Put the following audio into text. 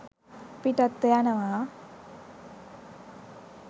පිටත්ව යනවා